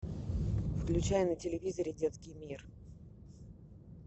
включай на телевизоре детский мир